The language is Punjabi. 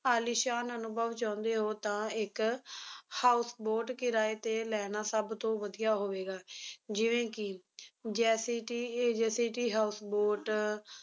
ਆਲੀਸ਼ਾਨ ਅਨੁਭਵ ਚਾਹੁੰਦੇ ਹੋ ਤਾਂ ਇੱਕ houseboat ਕਿਰਾਏ ਤੇ ਲੈਣਾ ਸਭਤੋਂ ਵਧੀਆ ਹੋਵੇਗਾ, ਜਿਵੇਂ ਕੀ ਜੈਸੀ ਟੀ JCT houseboat